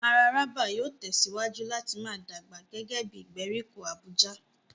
Mararaba yóò tẹ̀síwájú láti máa dàgbà gẹ́gẹ́ bí ìgbèríko Abuja.